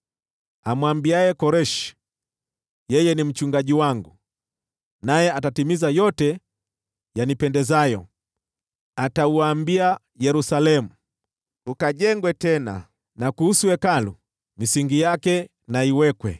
nisemaye kuhusu Koreshi, ‘Yeye ni mchungaji wangu, naye atatimiza yote yanipendezayo; atauambia Yerusalemu, “Ukajengwe tena,” na kuhusu Hekalu, “Misingi yake na iwekwe.” ’